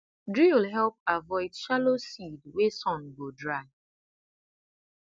drill help avoid shallow seed wey sun go dry